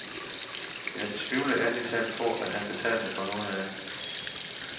Jeg tvivler ærlig talt på, at han betalte for noget af det.